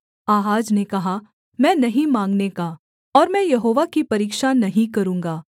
आहाज ने कहा मैं नहीं माँगने का और मैं यहोवा की परीक्षा नहीं करूँगा